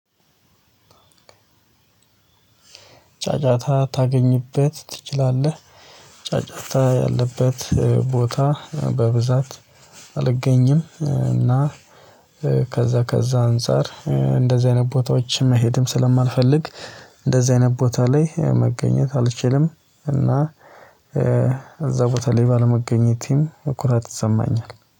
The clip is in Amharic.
ጫጫታ ታገኝበት ትችላለህ። ጫጫታ ያለበት ቦታ በብዛት። አልገኝም። እና ከዛ ከዛ አንፃር እንደዚህ አይነት ቦታዎችም መሄድም ስለማልፈልግ። እንደዚህ አይነት ቦታ ላይ መገኘት አልችልም። እና እዛ ቦታ ላይ ባለመገኘቴም ኩራት ይሰማኛል